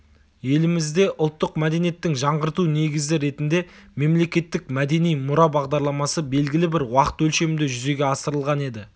елімізде ұлттық мәдениеттің жаңғырту негізі ретінде мемлекеттік мәдени мұра бағдарламасы белгілі бір уақыт өлшемінде жүзеге асырылған еді